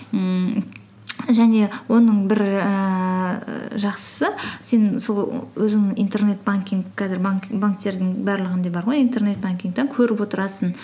ммм және оның бір ііі жақсысы сен сол өзіңнің интернет банкинг қазір банктердің барлығында бар ғой интернет банкингтен көріп отырасың